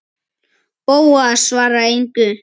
Bóas svaraði engu.